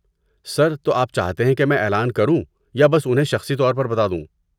سر، تو آپ چاہتے ہیں کہ میں اعلان کروں یا بس انہیں شخصی طور پر بتا دوں؟